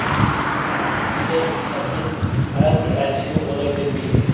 мұндай қасиет әрбір әншіде бола бермейді